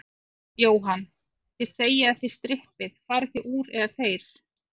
Jóhann: Þið segið að þið strippið, farið þið úr, eða þeir?